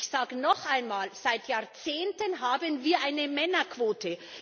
Ich sage noch einmal Seit Jahrzehnten haben wir eine Männerquote.